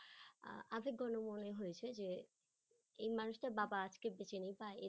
আহ আবেগ গণময় হয়ছে যে এই মানুষটির বাবা আজকে বেঁচে নেই বা